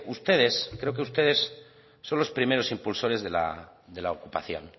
ustedes creo que ustedes son los primeros impulsores de la ocupación